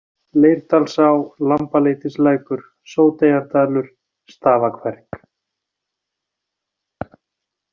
Leirdalsá, Lambaleitislækur, Sóteyjardalur, Stafakverk